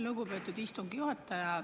Lugupeetud istungi juhataja!